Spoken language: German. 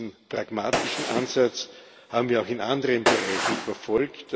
Diesen pragmatischen Ansatz haben wir auch in anderen Bereichen verfolgt,